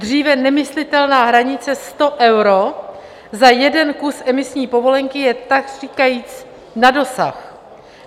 Dříve nemyslitelná hranice 100 euro za jeden kus emisní povolenky je takříkajíc na dosah.